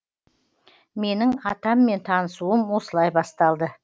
менің атаммен танысуым осылай басталды